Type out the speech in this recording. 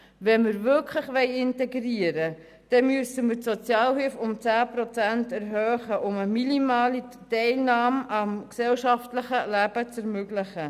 Wenn wir wirklich integrieren wollen, müssen wir die Sozialhilfe um 10 Prozent erhöhen, um eine minimale Teilnahme am gesellschaftlichen Leben zu ermöglichen.